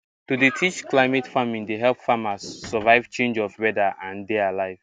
to teach climate farming dey help farmers survive change of weather and dey alive